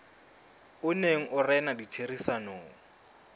o neng o rena ditherisanong